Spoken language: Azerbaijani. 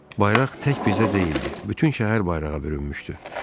Bayraq tək bizdə deyildi, bütün şəhər bayrağa bürünmüşdü.